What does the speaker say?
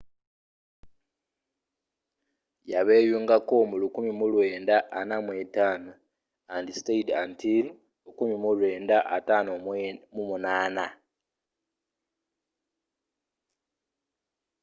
yabeeyungako mu 1945 and stayed until 1958